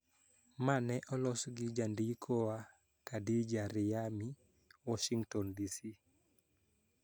Ma ne olos gi jandikowa, Khadija Riyami, Washington, DC.